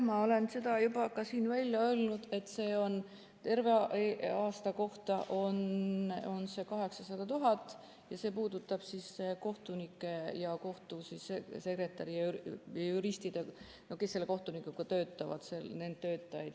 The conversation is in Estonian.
Ma olen seda juba ka siin välja öelnud, et terve aasta kohta on see 800 000 eurot ja see puudutab kohtunikke ja kohtusekretäri ja juriste, kes selle kohtunikuga töötavad, neid töötajaid.